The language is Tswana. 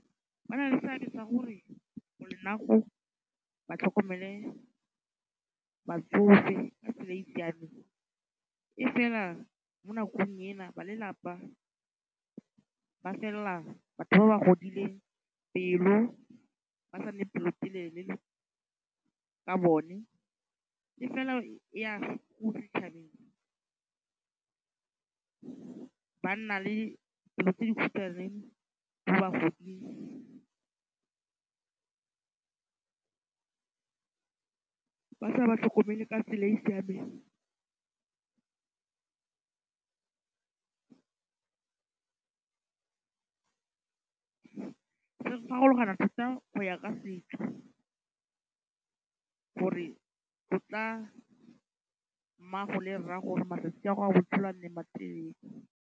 Ba na le seabe sa gore ba tlhokomele batsofe ka tsela e siameng. E fela mo nakong ena ba lelapa ba felela ba fella batho ba ba godileng pelo ba sa nne pelotelele ka bone. E fela eya ko setšhabeng. Ba nna le pelo tse dikhutshwane mo bagoding ba sa ba tlhokomele ka tsela e siameng. Se farologana thata go ya ka setso gore go tla mmago le rrago gore matsatsi a botshelo a nne matelele.